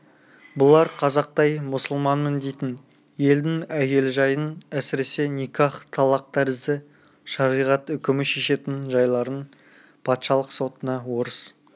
бұлар қазақтай мұсылманмын дейтін елдің әйел жайын әсіресе никах талақ тәрізді шариғат үкімі шешетін жайларын патшалық сотына орыс